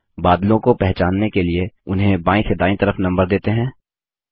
बादलों को पहचानने के लिए उन्हें बायीं से दायीं तरफ नम्बर देते हैं